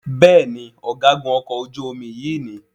Béèni Ọ̀gágun okò ojú omi yí ní.